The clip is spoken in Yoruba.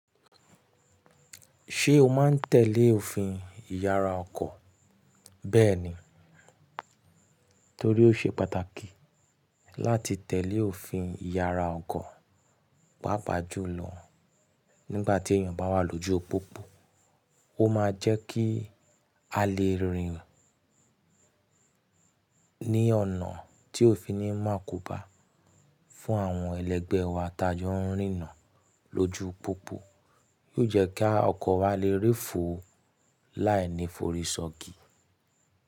Ṣé o máa ń tẹ̀lé òfin ìyara ọkọ̀? Bẹ́ẹ̀ni, torí ó ṣe pàtàkì láti tẹ̀lé òfin ìyara ọkọ̀, pàápàá jù lọ nígbà tí èèyàn bá wà lójú pópó. Ó máa jẹ́ kí a lè rìn ní ọ̀nà tí ò fi ni mu àkóbá fún àwọn ẹlẹgbẹ́ wa tá jọ ń rìnna lójú pópó. Yóò jẹ́ kí ọkọ̀ wa lè rí fo láìní forí sọgi.